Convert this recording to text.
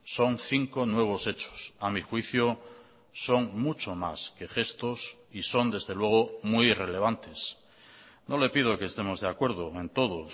son cinco nuevos hechos a mi juicio son mucho más que gestos y son desde luego muy irrelevantes no le pido que estemos de acuerdo en todo